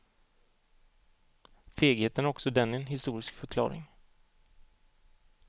Fegheten har också den en historisk förklaring.